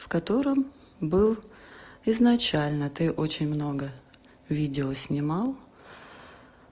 в котором был изначально ты очень много видео снимал